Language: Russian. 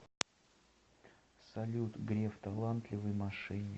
салют греф талантливый мошенник